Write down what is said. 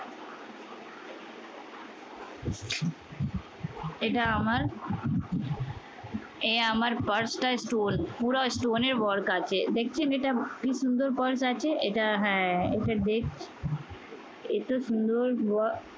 এটা আমার এই আমার purse টা stone পুরা stone এর work আছে। দেখছেন এটা কি সুন্দর purse আছে? এটা হ্যাঁ এটা এটা সুন্দর ওয়া